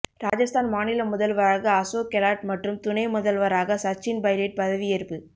ராஜஸ்தான் மாநில முதல்வராக அசோக் கெலாட் மற்றும் துணை முதல்வராக சச்சின் பைலட் பதவியேற்பு